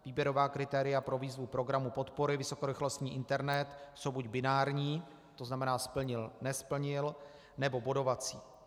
Výběrová kritéria pro výzvu programu podpory vysokorychlostní internet jsou buď binární, to znamená splnil - nesplnil, nebo bodovací.